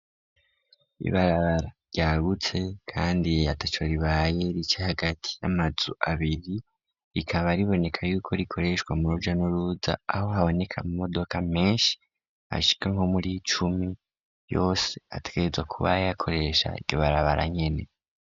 Ibarabara ryagutse, kandi yeyata co ribaye rica hagati y'amazu abiri rikaba riboneka yuko rikoreshwa mu ruja n'uruza aho haboneka mu modoka menshi ashika nko muri icumi yose atweza kuba yakoresha ribarabara nyene.